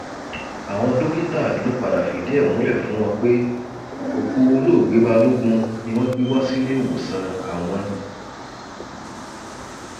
àwọn dókítà ló padà fìdí ẹ múlẹ fún wọn pé òkú olóògbé balógun ni wọn gbé wá síléèwòsàn àwọn